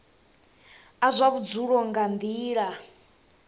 a zwa vhudzulo nga nila